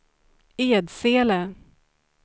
Edsele